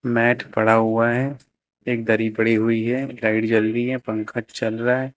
Mat पड़ा हुआ है एक दरी पड़ी हुई है लाइट जल रही है पंखा चल रहा है।